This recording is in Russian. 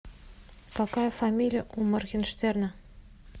какая фамилия у моргенштерна